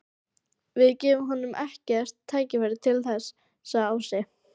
Við gefum honum ekkert tækifæri til þess, sagði Ási.